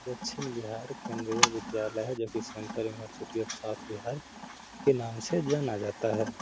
दक्षिण बिहार के अंदर ये विद्यालय है जो कि central university of south Bihar के नाम से जाना जाता है। .